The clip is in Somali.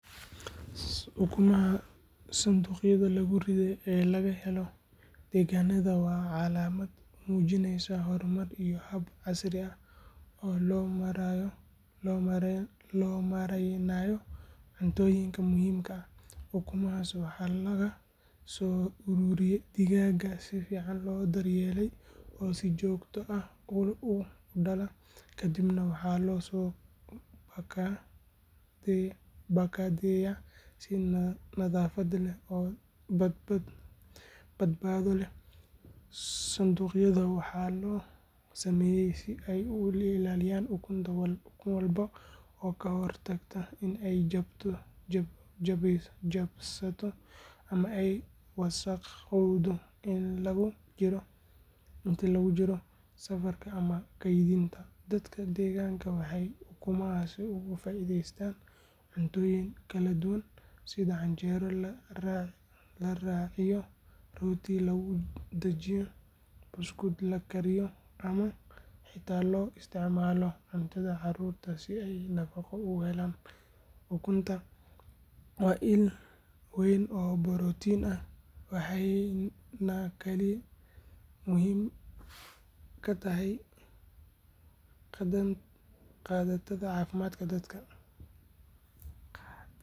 Ukumaha sanduuqyada lagu riday ee laga helayo deegaannada waa calaamad muujinaysa horumar iyo hab casri ah oo loo maaraynayo cuntooyinka muhiimka ah. Ukumahaas waxaa laga soo ururiyaa digaag si fiican loo daryeelay oo si joogto ah u dhala, kadibna waxaa loo soo baakadeeyaa si nadaafad leh oo badbaado leh. Sanduuqyada waxaa loo sameeyaa si ay u ilaaliyaan ukun walba oo ka hortaga in ay jabsato ama ay wasakhowdo inta lagu jiro safarka ama kaydinta. Dadka deegaanka waxay ukumahaas uga faa’iideystaan cuntooyin kala duwan sida canjeero la raaciyo, rooti lagu dhajiyo, buskud la kariyo ama xitaa loo isticmaalo cuntada caruurta si ay nafaqo ugu helaan. Ukunta waa il weyn oo borotiin ah, waxayna kaalin muhiim ah ka qaadataa caafimaadka dadka.